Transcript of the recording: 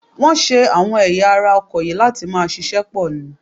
Wọ́n ṣe àwọn ẹ̀yà ara ọkọ̀ yìí láti máa ṣiṣẹ́ pọ̀ ni